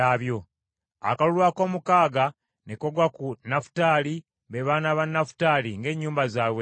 Akalulu akoomukaaga ne kagwa ku Nafutaali, be baana ba Nafutaali ng’ennyumba zaabwe bwe zaali.